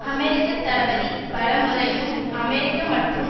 அமெரிக்க தளபதி பல முறையும் அமெரிக்க மற்றும்